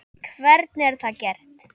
Hvernig er það gert?